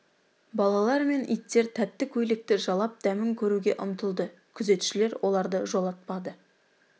балалар мен иттер тәтті көйлекті жалап дәмін көруге ұмтылды күзетшілер оларды жолатпады